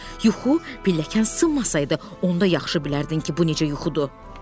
Yuxu pilləkən sınmasaydı, onda yaxşı bilərdin ki, bu necə yuxudur.